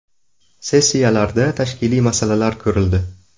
Sessiyalarda tashkiliy masalalar ko‘rildi.